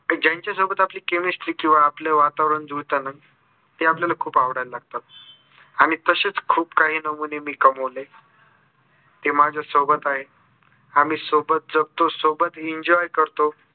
ज्यांच्या सोबत आपली chemistry किवा आपल वातावरण जुळते ना. ते आपल्याला खूप आवडायला लागतात. आणि तसेच खूप काही नमुने मी कमविले. ते माझ्या सोबत आहेत. आम्ही सोबत जगतो, सोबत enjoy करतो.